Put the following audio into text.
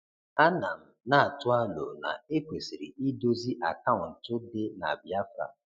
A na m na-atụ alo na ekwesiri idozi akaụntụ dị na Biafra.